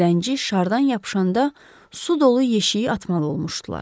Zəngi şardan yapışanda su dolu yeşiyi atmalı olmuşdular.